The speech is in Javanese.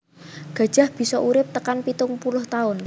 Gajah bisa urip tekan pitung puluh taun